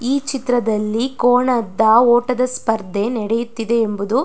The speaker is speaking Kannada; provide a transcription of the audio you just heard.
ಈ ಚಿತ್ರದಲ್ಲಿ ಕೋಣದ ಓಟದ ಸ್ಪರ್ಧೆ ನಡಿಯುತಿದೆ ಎಂಬುದು --